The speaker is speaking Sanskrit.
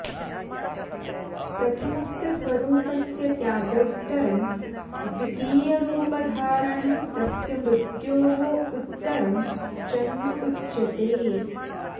प्रथमस्य स्वरूपस्य त्यागोत्तरं द्वितीयरूपधारणं तस्य मृत्योः उत्तरं जन्म उच्यते